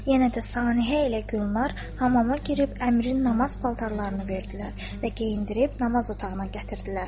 Yenə də Saniəhə ilə Gülnar hamama girib Əmirin namaz paltarlarını verdilər və geyindirib namaz otağına gətirdilər.